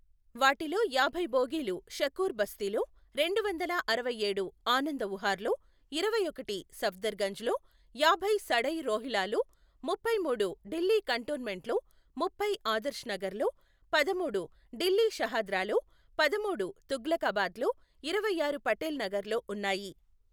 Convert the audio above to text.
వాటిలో యాభై బోగీలు షకూర్ బస్తిలో, రెండు వందల అరవై ఏడు ఆనంద వుహార్లో, ఇరవై ఒకటి సఫ్దర్ గంజ్లో, యాభై సడై రోహిల్లాలో, ముప్పై మూడు ఢిల్లీ కంటోన్మెంట్లో ముప్పై ఆదర్శ్ నగర్లో, పదమూడు ఢిల్లీ షహాద్రాలో, పదమూడు తుగ్లకాబాద్లో, ఇరవై ఆరు పటేల్ నగర్లో ఉన్నాయి.